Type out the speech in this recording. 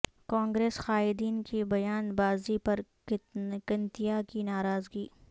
کانگریس قائدین کی بیان بازی پر کنتیا کی ناراضگی